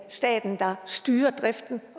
staten der styrer driften